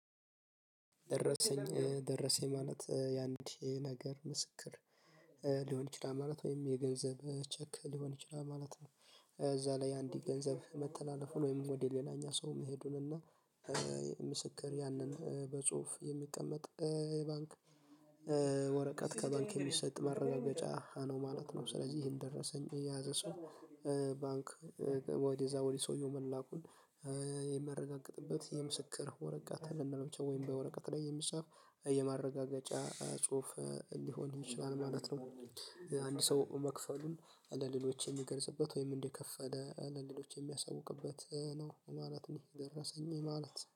ደረሰኝ ደረሰኝ ማለት ያንድ ነገር ምስክር ሊሆን ይችላል ማለት ወይም የገንዘብ ቼክ ሊሆን ይችላል ማለት ነው። እዛ ላይ አንድ ገንዘብ መተላለፉን ወይም ወደ ሌላኛ ሰው መሄዱን እና። ምስክር ያንን በጽሁፍ የሚቀመጥ የባንክ ወረቀት ከባንክ የሚሰጥ መረጃ ነው ማለት ነው። ስለዚህ ይሄን ደረሰኝ የያዘ ሰው ባንክ ወዲያ ወዲህ ሰውየው መላኩን የሚያረጋግጥበት የምስክር ወረቀት ልንለው ወይም በወረቀት ላይ የሚጻፍ የማረጋገጫ ጽሁፍ ሊሆን ይችላል ማለት ነው። አንድ ሰው መክፈሉን ለሌሎች የሚገርጽበት ወይም እንደከፈለ ለሌሎች የሚያሳውቅበት ነው ማለት ነው። የደረሰኝ ማለት